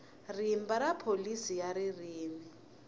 rimba ra pholisi ya ririmi